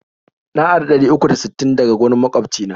Na ari ɗari uku da sittin daga wurin magwabci na.